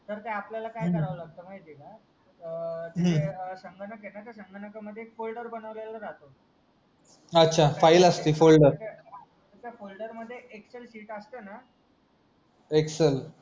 sir ते आपल्याला काय करावा लागत ते म्हायती हाय का हम्म संगणक हायना त्या संगणका मध्ये फोल्डर एक फोल्डर बनवलेला राहतो अच्छा एक फाईल असती फोल्डर त्याचा फोल्डर मध्ये एक्सेल शीट असतो ना एक्सेल